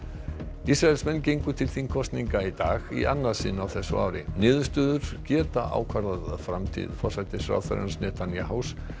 Ísraelar gengu til þingkosninga í dag í annað sinn á þessu ári niðurstöðurnar geta ákvarðað framtíð forsætisráðherrans Netanyahus